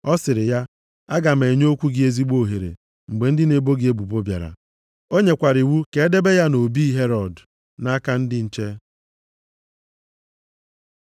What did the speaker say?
ọ sịrị ya, “Aga m enye okwu gị ezigbo ohere mgbe ndị na-ebo gị ebubo bịara.” O nyekwara iwu ka e debe ya nʼobi Herọd nʼaka ndị nche.